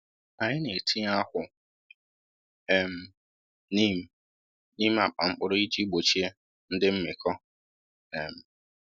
Anyị na-etinye akwụ um neem n’ime akpa mkpụrụ iji gbochie ndị mmịkọ. um